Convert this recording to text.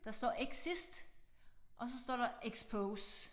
Der står exist og så står der expose